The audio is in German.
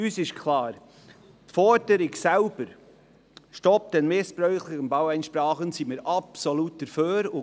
Uns ist klar: Der Forderung selbst, «Stopp den missbräuchlichen Baueinsprachen», können wir absolut beipflichten.